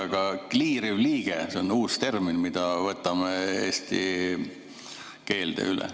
Aga kliiriv liige, see on uus termin, mille võtame eesti keelde üle.